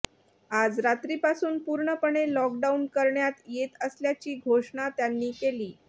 आज रात्रीपासून पूर्णपणे लॉकडाऊन करण्यात येत असल्याची घोषणा त्यांनी केली